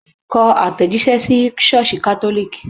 Ko atejise sí sọ́ọ̀sì catholic